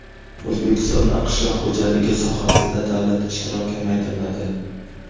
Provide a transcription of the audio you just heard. O‘zbekistonda qishloq xo‘jaligi sohasida davlat ishtiroki kamaytiriladi.